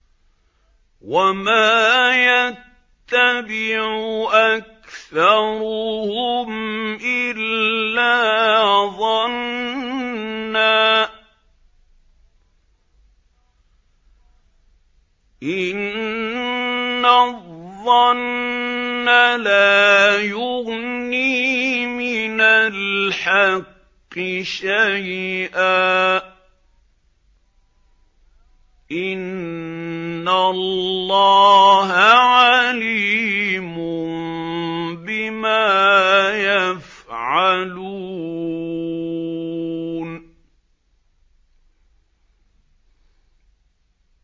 وَمَا يَتَّبِعُ أَكْثَرُهُمْ إِلَّا ظَنًّا ۚ إِنَّ الظَّنَّ لَا يُغْنِي مِنَ الْحَقِّ شَيْئًا ۚ إِنَّ اللَّهَ عَلِيمٌ بِمَا يَفْعَلُونَ